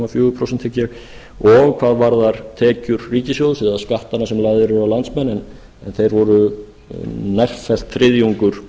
fjögur prósent og hvað varðar tekjur ríkissjóðs eða skattana sem lagðir eru á landsmenn en þeir voru nærfellt þriðjungur